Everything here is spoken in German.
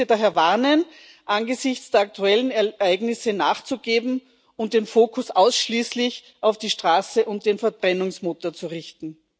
Ich möchte daher warnen, angesichts der aktuellen Ereignisse nachzugeben und den Fokus ausschließlich auf die Straße und den Verbrennungsmotor zu richten.